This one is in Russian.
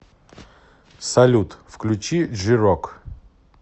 салют включи джи рок